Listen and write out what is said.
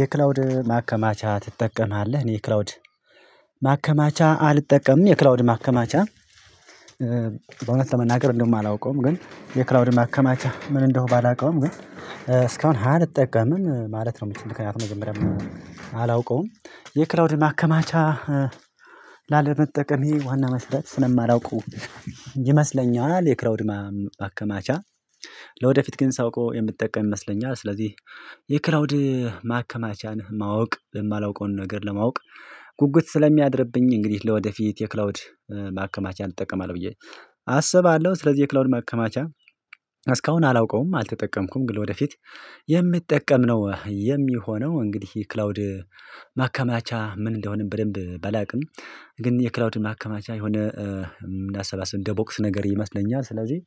የክላውድ ማከማቻ ትጠቀማለህ እኔ ክላውድ ማከማቻ አልጠቀምም የክላውድ ማከማቻ። በእውነት ለመናገር እንደማላውቀውም ግን የክላውድ ማከማቻ ምን እንደሆነ ባላውቀውም ግን እስካሁን አልጠቀምም ማለት ነው። የምትከናውነው መጀመሪያ አላውቀውም። የክላውድ ማከማቻ ላለመጠቀሜ ዋና መስፈርት ስለማላውቀው ይመስለኛል። የክላውድማ ማከማቻ ለወደፊት ግን ሳውቀው የምትጠቀም ይመስለኛል። ስለዚህ የክላውድ ማከማቻን ማወቅ የማላውቀውን ነገር ለማወቅ ጉጉት ስለሚያድርብኝ እንግዲህ ለወደፊት የክላውድ ማከማቻን እጠቀማለሁ ብዬ አሰባለሁ። ስለዚህ የክላውንድ ማከማቻ እስካሁን አላውቀውም አልተጠቀምኩም ግን ወደፊት የምትጠቀም ነው የሚሆነው። እንግዲህ ክላውድ ማከማቻ ምን እንደሆነም በደንብ ባላውቅም ግን የክላውድ ማከማቻ የሆነ አሰባሰብ ደቦክስ ነገር ይመስለኛል። ስለዚህ